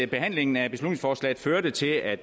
behandlingen af beslutningsforslaget førte til at